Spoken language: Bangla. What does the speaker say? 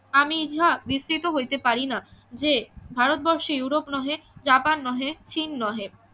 আমি ইহা বিস্তৃত হইতে পারিনা যে ভারতবর্ষে ইউরোপ নহে জাপান নহে চিন নহে